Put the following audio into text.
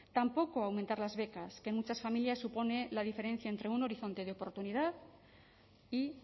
tampoco aumentar las becas que en muchas familias supone la diferencia entre un horizonte de oportunidad y